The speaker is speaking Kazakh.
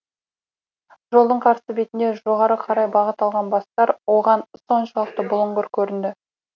жолдың қарсы бетінде жоғары қарай бағыт алған бастар оған соншалықты бұлыңғыр көрінді